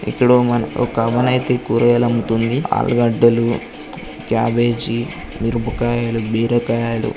ఇక్కడ ఒక అమ్మనైతే కూరగాయలు అమ్ముతుంది. ఆలుగడ్డలు క్యాబేజీ మిరపకాయలు బబీరకాయలు